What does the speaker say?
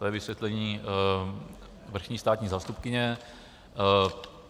To je vysvětlení vrchní státní zástupkyně.